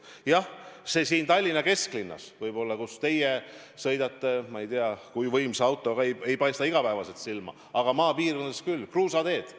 Jah, see siin Tallinna kesklinnas võib-olla, kus teie sõidate – ma ei tea, kui võimsa autoga –, ei paista igapäevaselt silma, aga maapiirkondades küll – kruusateed.